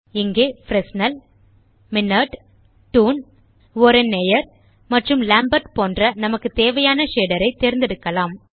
இங்கே Fresnel Minnaert toon oren Nayar மற்றும் Lambert போன்ற நமக்கு தேவையான ஷேடர் ஐ தேர்ந்தெடுக்கலாம்